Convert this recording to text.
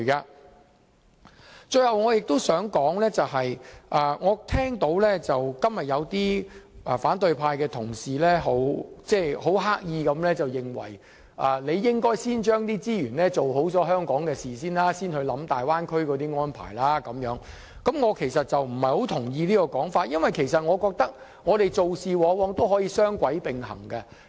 我最後想指出的是，我今天聽到有些反對派的同事刻意地說應該先用資源做好香港的事，才考慮大灣區的安排。我不太同意此種說法，因為我覺得做事可以雙軌並行。